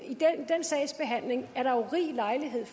sags behandling er der jo rig lejlighed